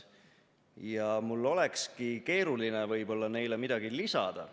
Ja mul olekski võib-olla keeruline neile midagi lisada.